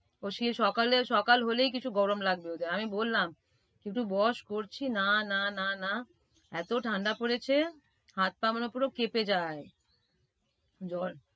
ও সেই সকালে~সকাল বলেই কিছু গরম লাগবে ওদের আমি বললাম কিন্তু বস করছি না না না না, এত ঠাণ্ডা পড়েছে হাত পা মনে করো কেপে যায়।